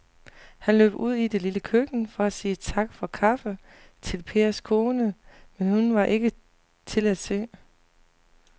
Han løb ud i det lille køkken for at sige tak for kaffe til Pers kone, men hun var ikke til at se.